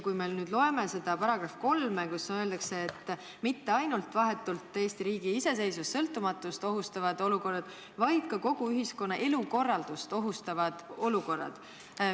Loeme seda § 3, kus öeldakse, et mõeldud pole mitte ainult vahetult Eesti riigi iseseisvust ja sõltumatust ohustavaid olukordi, vaid ka kogu ühiskonna elukorraldust ohustavaid olukordi.